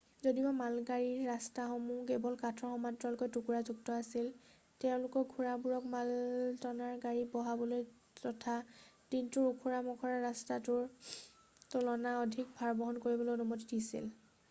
যদিওবা মালগাড়ীৰ ৰাস্তাসমূহ কেৱল কাঠৰ সমান্তৰাল টুকুৰাযুক্ত আছিল তেওঁলোকে ঘোঁৰাবোৰক মালটনাৰ গতি বঢ়াবলৈ তথা দিনটোত ওখৰা মখৰা ৰাস্তাটোৰ তুলনাত অধিক ভাৰ বহন কৰিবলৈ অনুমতি দিছিল